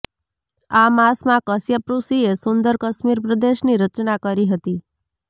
આ માસમાં કશ્યપ ઋષિએ સુંદર કશ્મીર પ્રદેશની રચના કરી હતી